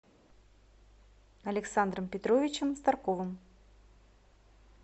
александром петровичем старковым